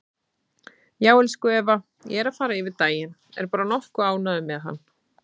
Já, elsku Eva, ég er að fara yfir daginn, er bara nokkuð ánægður með hann.